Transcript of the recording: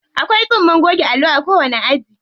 Akwai tsumma goge allo a kowanni aji.